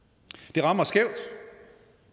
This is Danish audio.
det rammer skævt